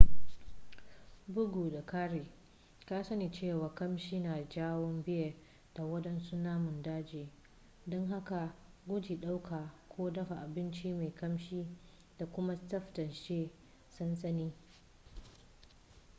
bugu da ƙari ka sani cewa ƙamshi na janyo bear da waɗansu namun daji don haka guji ɗauka ko dafa abinci mai ƙamshi da kuma tsaftace sansani